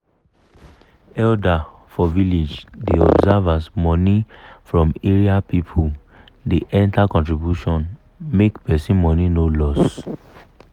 elder for village da observe as money from area people da enter contribution make person money no loss